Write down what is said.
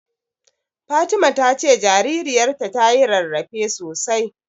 Fatima ta ce jaririyarta tayi rarrafe sosai.